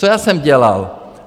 Co já jsem dělal?